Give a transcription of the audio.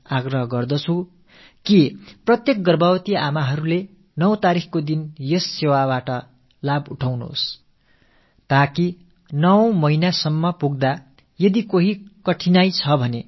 உங்கள் வீட்டில் இருக்கும் கருவுற்றப் பெண்களுக்கும் ஒவ்வொரு மாதமும் 9ஆம் தேதியன்று அளிக்கப்பட்டு வரும் இந்த சேவையின் பலனை அளியுங்கள் என்று அனைத்து ஏழைக் குடும்பத்தாரிடமும் வேண்டிக் கேட்டுக் கொள்கிறேன்